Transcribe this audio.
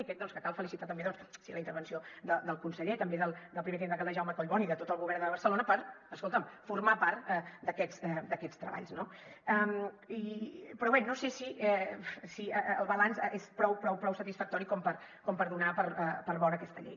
i crec doncs que cal felicitar també la intervenció del conseller també del primer tinent d’alcalde jaume collboni i de tot el govern de barcelona per escolta’m formar part d’aquests treballs no però bé no sé si el balanç és prou prou prou satisfactori com per donar per bona aquesta llei